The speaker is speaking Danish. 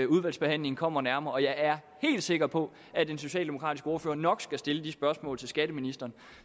udvalgsbehandlingen kommer det nærmere og jeg er helt sikker på at den socialdemokratiske ordfører nok skal stille de spørgsmål til skatteministeren